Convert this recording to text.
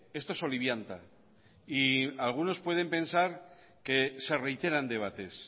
esto solivianta y algunos pueden pensar que se reiteran debates